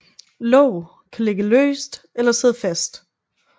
Låg kan ligge løst eller sidde fast